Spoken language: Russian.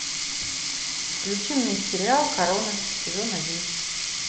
включи мне сериал корона сезон один